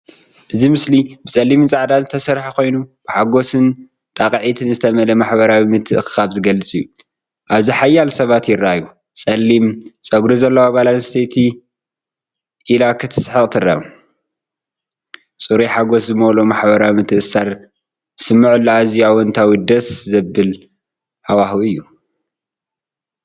እዚ ምስሊ ብጸሊምን ጻዕዳን ዝተሰርሐ ኮይኑ፡ ብሓጎስን ጣቕዒትን ዝተመልአ ማሕበራዊ ምትእኽኻብ ዝገልጽ እዩ። ኣብዚ ሓያሎ ሰባት ይረኣዩ። ጸሊም ጸጉሪ ዘለዋ ጓል ኣንስተይቲ ኢላ ክትስሕቕ ትርአ። ጽሩይ ሓጎስ ዝመልኦ ማሕበራዊ ምትእስሳርን ዝስምዓሉ ኣዝዩ ኣወንታዊን ደስ ዘብልን ሃዋህው እዩ።